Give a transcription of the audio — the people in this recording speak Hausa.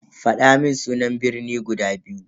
Fadamun sunan birni guda biyu.